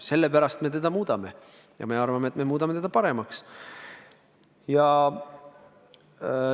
Sellepärast me seda muudame ja me arvame, et me muudame seda paremaks.